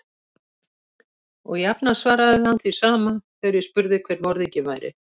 Og jafnan svaraði hann því sama, þegar ég spurði hver morðinginn væri.